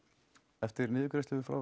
eftir niðurgreiðslu frá